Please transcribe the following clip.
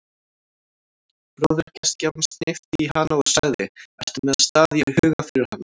Bróðir gestgjafans hnippti í hana og sagði: ertu með stað í huga fyrir hana?